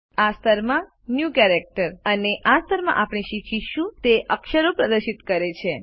આ સ્તર માં ન્યૂ કેરેક્ટર્સ આ સ્તરમાં આપણે શીખીશું તે અક્ષરો પ્રદર્શિત કરે છે